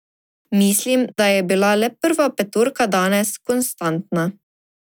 Mislim, da je bila le prva petorka danes konstantna.